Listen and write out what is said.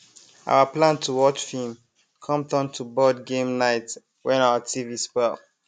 our plan to watch film come turn to board game night when our tv spoil